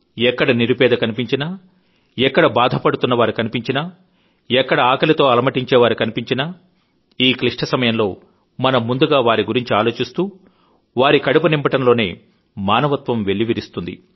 ఎక్కడ నిరుపేద కన్పించినా ఎక్కడ బాధపడుతున్నవారు కన్పించినా ఎక్కడ ఆకలితో అలమటించేవారు కన్పించినా ఈ క్లిష్ట సమయంలో మనం ముందుగా వారి గురించి ఆలోచిస్తూ వారి కడుపు నింపడంలోనే మానవత్వం వెల్లివిరుస్తుంది